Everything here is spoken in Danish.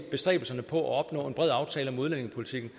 bestræbelserne på at opnå en bred aftale om udlændingepolitikken